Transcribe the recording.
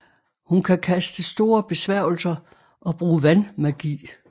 Hun kan kaste store besværgelser og bruge vandmagi